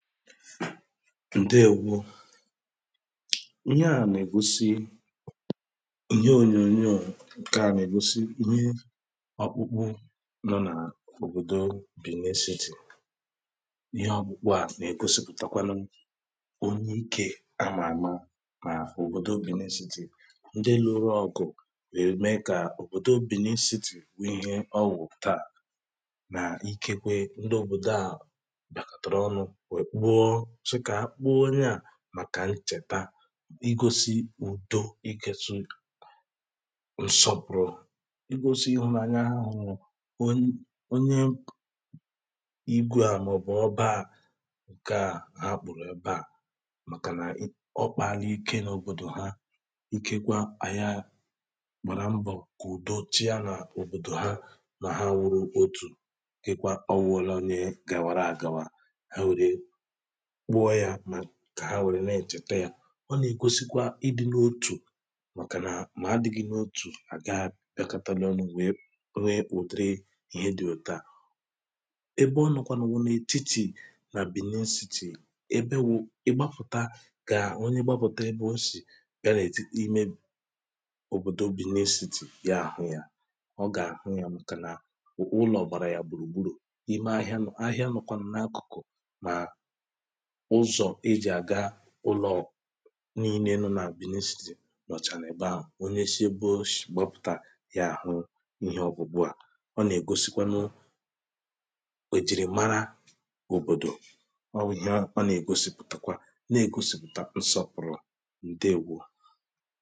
ǹdeèwo ihe à na-ègosi ihe ònyònyoò ǹkè à nà-ègosi ihe ọkpụkpụ nọ n’òbòdo benin city ihe ọkpụkpụ à nà-ègosìpụ̀takwanụ onye ikė a mà a ma nà òbòdo benin city ndị lụrụ ọkụ̀ wèe mee kà òbòdo benin city wụ̀ ihe ọwụ̀ taa nà ikekwe ndị òbòdo à sọ kà akpụ onye à màkà nchèta igȯsi̇ ùdo iketu̇ ǹsọ̀pụ̀rụ̀ igȯsi̇ ịhụ̇nàanya ha hụ̀ onye igȯ à màọ̀bụ̀ ọba à ǹke à ha kpụ̀rụ̀ ebe à màkà nà ọ kpàla ike n’òbòdò ha ikekwa àya gbàrà mbọ̀ kà ùdo chịa nà òbòdò ha mà ha wụrụ otù kekwa ọ wụrelu onye gàwàra àgàwa kpụọ ya mà kà ha nwèrè nà-ètète ya ọ nà-ègosikwa ịdị̇nȧ otù màkà nà mà a dị̇ghị̇ n’otù à ga bịakȧtȧlị̇ ọnụ̇ wèe new uteri ihe dị̇ òtu à ebe ọ nọkwànụ̀ wụ̀ n’et̀itì nà benin city ebe wụ̇ ị gbafùta gà ọnye gbafùta ebe o sì bịa nà ètikpì ime òbòdò benin city ya àhụ yȧ ọ gà àhụ yȧ màkà nà ụ̀kwụ ụlọ̀ gbàrà ya gbùrù gburù ime ahịa nọ̀ ahịa nọ̀kwànụ̀ n’akụ̀kụ̀ ụlọ̀ niilė nọ nà benin city nọ̀chà nà èbe ahụ̀ onye shi ebe o shì gbọpụ̀tà ya àhụ ihe ọgwụ̀gwụ à ọ nà-ègosikwanụ èjìrìmara òbòdò ọ wụ̇ ihe ọ nà ègosìpụ̀takwa na-ègosìpụ̀ta nsọpụ̀rụ ǹdeèwo